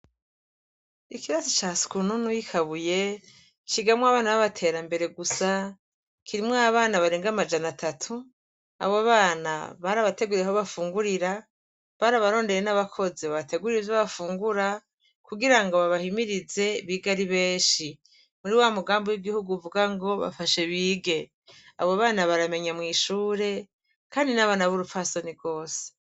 Ikirasi ca sukununu yi kabuye cigamwo abana babaterambere gusa kirimwo abana barenga amajana atatu abo bana barabateguriye aho bafungurira barabarondereye nabakozi babategurira ivyo gufungura kugirango babahimirize bige ari benshi muri wa mugambi wigihugu uvuga ngo bafashe bige abo bana baramenya mwishure kandi nabana burupfasoni gose